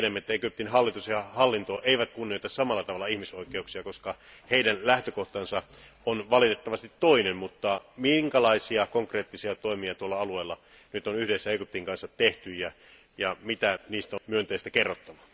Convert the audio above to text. Mehän tiedämme, että Egyptin hallitus ja hallinto eivät kunnioita samalla tavalla ihmisoikeuksia, koska heidän lähtökohtansa on valitettavasti toinen, mutta minkälaisia konkreettisia toimia tuolla alueella nyt on yhdessä Egyptin kanssa tehty ja mitä myönteistä kerrottavaa niistä on meille?